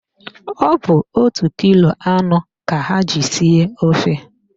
Ọ bụ otu kilo anụ ka ha ji sie ofe